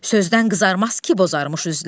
Sözdən qızarmaz ki, bozarrmış üzlər.